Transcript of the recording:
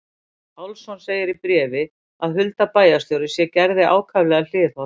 Pálsson segir í bréfi að Hulda bæjarstjóri sé Gerði ákaflega hliðholl.